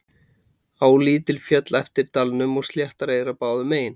Á lítil féll eftir dalnum og sléttar eyrar báðum megin.